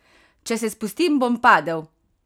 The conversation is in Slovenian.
Če se spustim, bom padel!